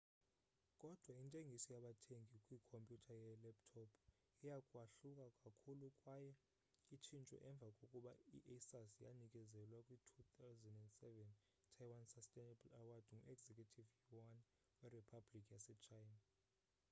kodwa intengiso yabathengi kwikhompyuter yelaptop iya kwahluka kakhulu kwaye itshintshwe emva kokuba i-asus yanikezelwa kwi-2007 taiwan sustainable award ngu-executive yuan weriphabhlikhi yase china